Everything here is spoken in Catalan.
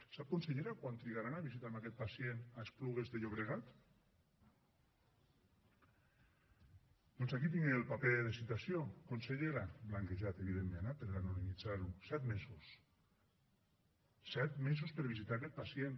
sap consellera quant trigaran a visitar aquest pacient a esplugues de llobregat doncs aquí tinc el paper de citació consellera blanquejat evidentment eh per anonimitzar ho set mesos set mesos per visitar aquest pacient